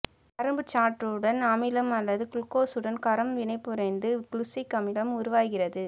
கரும்புச் சாற்றுடன் அமிலம் அல்லது குளுக்கோசுடன் காரம் வினைபுரிந்து குளுசிக் அமிலம் உருவாகிறது